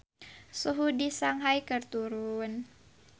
Suhu di Shanghai keur turun